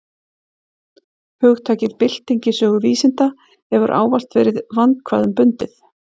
Hugtakið bylting í sögu vísinda hefur ávallt verið vandkvæðum bundið.